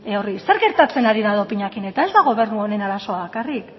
horri zer gertatzen hari da dopinarekin eta ez da gobernu honen arazoa bakarrik